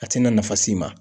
A tɛna nafa s'i ma.